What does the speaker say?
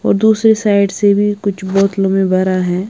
तो दूसरे साइड से भी कुछ बोतलो में भरा है।